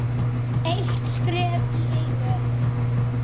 Eitt skref í einu.